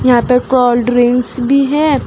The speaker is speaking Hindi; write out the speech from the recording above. यहां पे कोल्ड्रिंक्स भी है।